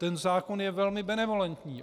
Ten zákon je velmi benevolentní.